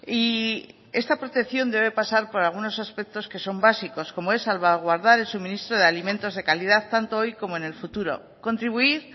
y esta protección debe pasar por algunos aspectos que son básicos como es salvaguardar el suministro de alimentos de calidad tanto hoy como en el futuro contribuir